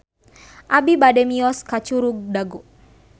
Abi bade mios ka Curug Dago